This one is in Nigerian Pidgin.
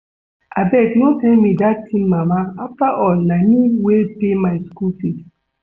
Abeg no tell me dat thing mama afterall na me wey pay my school fees